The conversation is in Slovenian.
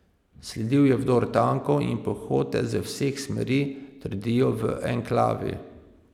Sledil je vdor tankov in pehote z vseh smeri, trdijo v enklavi.